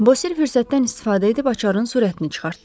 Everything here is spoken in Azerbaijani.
Bosir fürsətdən istifadə edib açarın sürətini çıxartdı.